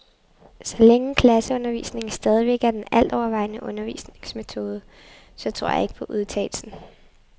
Så længe klasseundervisningen stadigvæk er den altovervejende undervisningsmetode, så tror jeg ikke på udtalelsen.